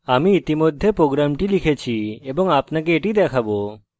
আমি ইতিমধ্যে program লিখেছি এবং আপনাকে এটি দেখাবো